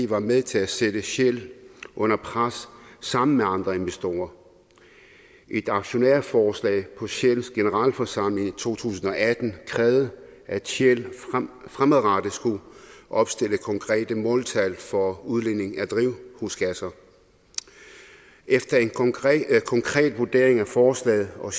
var med til at sætte shell under pres sammen med andre investorer et aktionærforslag på shells generalforsamling i to tusind og atten krævede at shell fremadrettet skulle opstille konkrete måltal for udledning af drivhusgasser efter en konkret vurdering af forslaget og